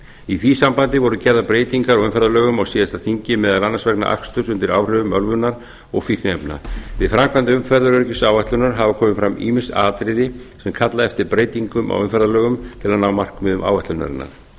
í því sambandi voru gerðar breytingar á umferðarlögum á síðasta þingi meðal annars vegna aksturs undir áhrifum ölvunar og fíkniefna við framkvæmd umferðaröryggisáætlunar hafa komið fram ýmis atriði sem kalla eftir breytingum á umferðarlögum til að ná markmiðum áætlunarinnar